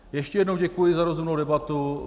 Ještě jednou děkuji za rozumnou debatu.